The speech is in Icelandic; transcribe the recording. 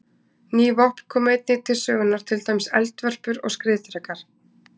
Ný vopn komu einnig til sögunnar, til dæmis eldvörpur og skriðdrekar.